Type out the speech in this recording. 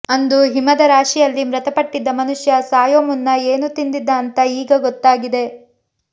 ಅಂದು ಹಿಮದ ರಾಶಿಯಲ್ಲಿ ಮೃತಪಟ್ಟಿದ್ದ ಮನುಷ್ಯ ಸಾಯೋ ಮುನ್ನ ಏನು ತಿಂದಿದ್ದ ಅಂತಾ ಈಗ ಗೊತ್ತಾಗಿದೆ